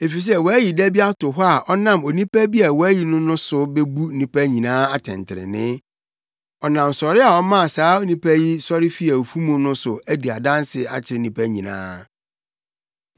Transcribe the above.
Efisɛ wayi da bi ato hɔ a ɔnam onipa bi a wayi no no so bebu nnipa nyinaa atɛntrenee. Ɔnam sɔre a ɔmaa saa onipa yi sɔre fii awufo mu no so adi adanse akyerɛ nnipa nyinaa.”